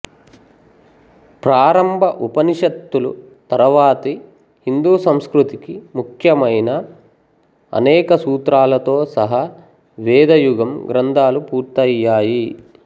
ప్రారంభ ఉపనిషత్తులు తరువాతి హిందూ సంస్కృతికి ముఖ్యమైన అనేక సూత్రాలతో సహా వేద యుగం గ్రంథాలు పూర్తయ్యాయి